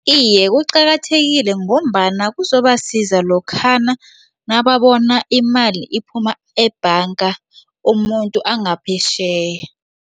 Iye, kuqakathekile ngombana kuzobasiza lokhana nababona imali iphuma ebhanga umuntu angaphetjheya.